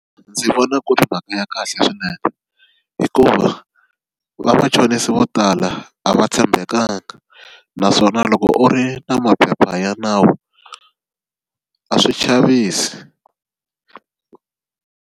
Ndzi vona ku ri mhaka ya kahle swinene hikuva vamachonisi vo tala a va tshembekanga naswona loko u ri na maphepha ya nawu a swi chavisi.